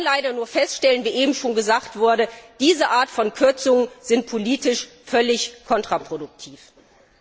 Ich kann leider nur feststellen, wie eben schon gesagt wurde, dass diese Art von Kürzungen politisch völlig kontraproduktiv sind.